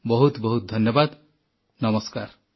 ବହୁତ ବହୁତ ଧନ୍ୟବାଦ ନମସ୍କାର